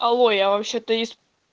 алло я вообще-то из